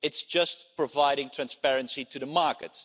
it is just providing transparency to the market.